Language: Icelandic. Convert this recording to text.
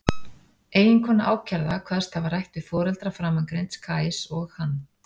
Eiginkona ákærða kvaðst hafa rætt við foreldra framangreinds Kajs og hann.